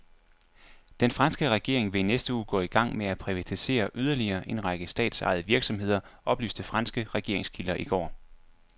Den franske regering vil i næste uge gå i gang med at privatisere yderligere en række statsejede virksomheder, oplyste franske regeringskilder i går.